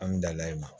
An bɛ dala ye